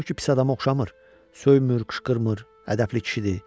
O ki pis adama oxşamır, söymür, qışqırmır, ədəpli kişidir.